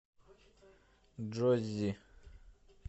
джоззи